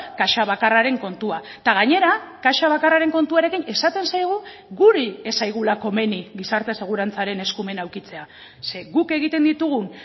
kaxa bakarraren kontua eta gainera kaxa bakarraren kontuarekin esaten zaigu guri ez zaigula komeni gizarte segurantzaren eskumena edukitzea ze guk egiten ditugun